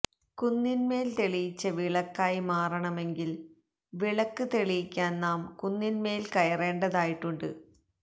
കുന്നിൻ മേൽ തെളിയിച്ച വിളക്കായി മാറണമെങ്കിൽ വിളക്ക് തെളിയിക്കാൻ നാം കുന്നിന്മേല് കയറേണ്ടതായിട്ടുണ്ട്